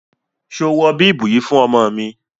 Ṣo wọ bíbù yìí fún ọmọ mi?